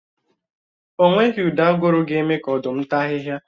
O nweghi ụdị aguru ga-eme ka Ọ̀dụ́m tàa ahị́hia